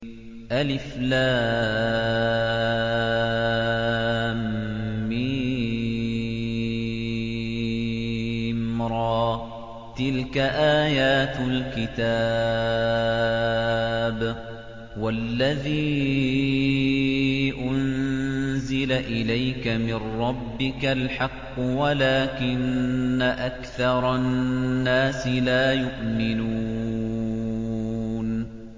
المر ۚ تِلْكَ آيَاتُ الْكِتَابِ ۗ وَالَّذِي أُنزِلَ إِلَيْكَ مِن رَّبِّكَ الْحَقُّ وَلَٰكِنَّ أَكْثَرَ النَّاسِ لَا يُؤْمِنُونَ